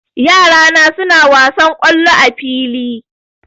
Yara na suna wasan kollo a fili